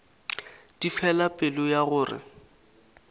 di fela pelo ya gore